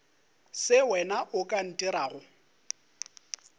se wena o ka ntirago